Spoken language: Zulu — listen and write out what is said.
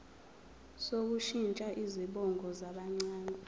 sokushintsha izibongo zabancane